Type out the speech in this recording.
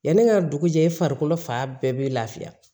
Yanni ne ka dugu jɛ farikolo fan bɛɛ bɛ lafiya